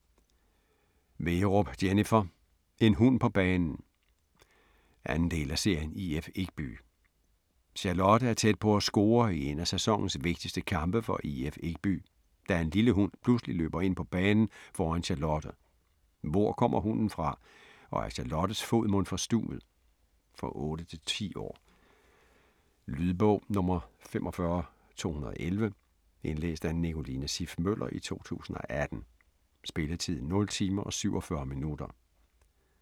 Wegerup, Jennifer: En hund på banen! 2. del af serien IF Ekby. Charlotte er tæt på at score i en af sæsonens vigtigste kampe for IF Ekby, da en lille hund pludselig løber ind på banen foran Charlotte. Hvor kommer hunden fra? Og er Charlottes fod mon forstuvet? For 8-10 år. Lydbog 45211 Indlæst af Nicoline Siff Møller, 2018. Spilletid: 0 timer, 47 minutter.